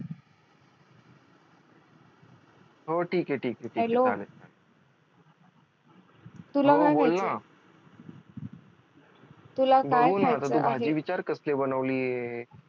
हो ठीक आहे ठीक आहे ठीक आहे चालेल हो बोल ना बघू ना आता तू भाजी विचार कसली बनवली आहे?